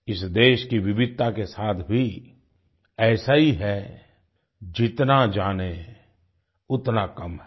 इस देश की विविधता के साथ भी ऐसा ही है जितना जाने उतना कम है